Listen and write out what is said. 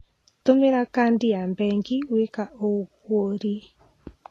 Tũmĩra kandi ya bengi gwĩka ũgũri.